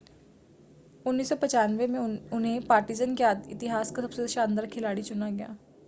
1995 में उन्हें पार्टिज़न के इतिहास का सबसे शानदार खिलाड़ी चुना गया